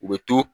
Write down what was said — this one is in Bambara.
U bɛ to